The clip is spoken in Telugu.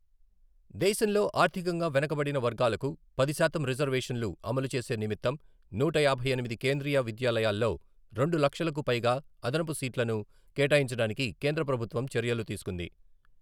దేశంలో ఆర్థికంగా వెనుకబడిన వర్గాలకు పది శాతం రిజర్వేషన్లు అమలు చేసే నిమిత్తం నూట యాభై ఎనిమిది కేంద్రీయ విద్యాలయాల్లో రెండు లక్షలకు పైగా అదనపు సీట్లను కేటాయించడానికి కేంద్రప్రభుత్వం చర్యలు తీసుకుంది.